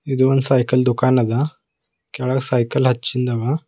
ಇದು ಒಂದು ಸೈಕಲ್ ದುಕಾನ ದ ಕೆಳಗ್ ಸೈಕಲ್ ಹಚ್ಚಿಂದದ.